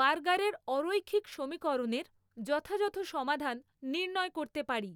বার্গারের অরৈখিক সমীকরণের যথাযথ সমাধান নির্ণয় করতে পারি।